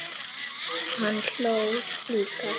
Hann hló líka.